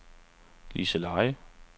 Liseleje